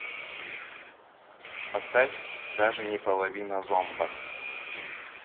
поставь даже не половина зомба